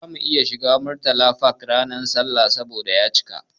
Bamu iya shiga Murtala Park ranar sallah ba saboda ya cika.